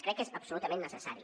crec que és absolutament necessari